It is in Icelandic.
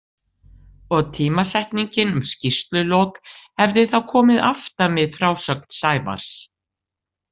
Og tímasetningin um skýrslulok, hefði þá komið aftan við frásögn Sævars.